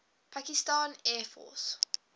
pakistan air force